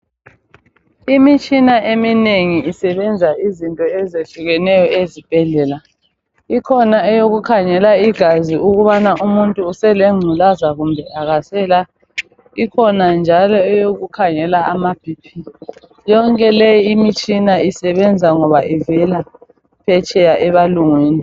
Imitshina eminengi isebenza izinto ezehlukeneyo ezibhedlela. Ikhona eyokukhangela igazi ukubana umuntu uselengculaza kumbe akasela. Ikhona njalo eyokukhangela ama BP. Yonke le imitshina isebenza ngoba ivela phetsheya ebalungwini.